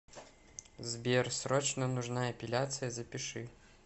сбер срочно нужна эпиляция запиши